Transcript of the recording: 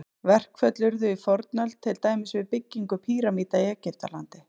Verkföll urðu í fornöld, til dæmis við byggingu pýramída í Egyptalandi.